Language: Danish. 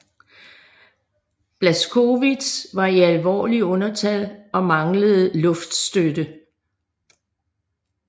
Blaskowitz var i alvorlig undertal og manglede luftstøtte